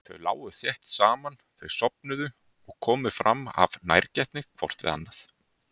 Þau lágu þétt saman meðan þau sofnuðu og komu fram af nærgætni hvort við annað.